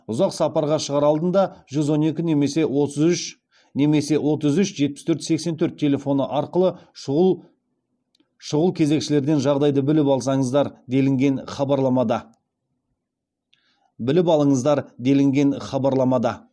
ұзақ сапарға шығар алдында жүз он екі немесе отыз үш жетпіс төрт сексен төрт телефоны арқылы шұғыл кезекшілерден жағдайды біліп алыңыздар делінген хабарламада